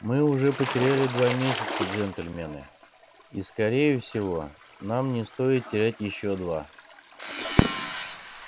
мы уже потеряли два месяца джентльмены и скорее всего нам не стоит терять ещё два